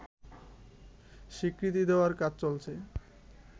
স্বীকৃতি দেওয়ার কাজ চলছে